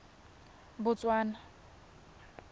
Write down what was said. botswana